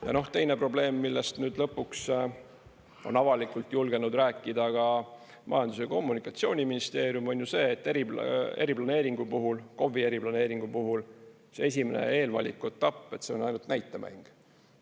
Ja teine probleem, millest nüüd lõpuks on avalikult julgenud rääkida ka Majandus‑ ja Kommunikatsiooniministeerium, on ju see, et eriplaneeringu puhul, KOV-i eriplaneeringu puhul see esimene eelvaliku etapp, see on ainult näitemäng.